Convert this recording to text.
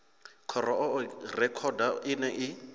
khou oa rekhodo ine i